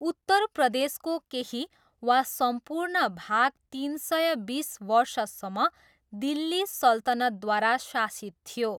उत्तर प्रदेशको केही वा सम्पूर्ण भाग तिन सय बिस वर्षसम्म दिल्ली सल्तनतद्वारा शासित थियो।